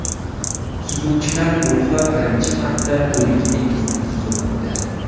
Suzuvchilar guruhi birinchi marta O‘lik dengizni suzib o‘tdi.